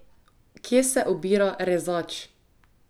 Kje se obira Rezač?